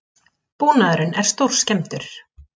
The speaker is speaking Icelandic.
Búnaðurinn er stórskemmdur